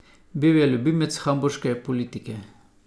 Bil je ljubljenec hamburške publike.